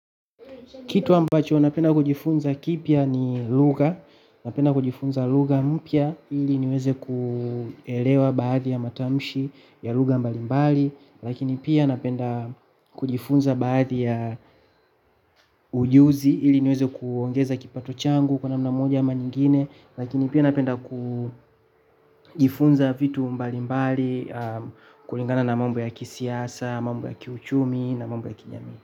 Kitu ambacho napenda kujifunza kipya ni lugha. Napenda kujifunza lugha mpya ili niweze kuelewa baadhi ya matamshi ya lugha mbalimbali, lakini pia napenda kujifunza baadhi ya ujuzi, ili niweze kuongeza kipato changu kwa njia moja ama nyingine. Lakini pia napenda kujifunza vitu mbalimbali, kulingana na mambo ya kisiasa, mambo ya kiuchumi na mambo ya kijamii.